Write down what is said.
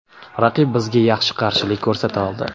Raqib bizga yaxshi qarshilik ko‘rsata oldi.